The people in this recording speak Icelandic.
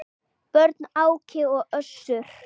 Börn: Áki og Össur.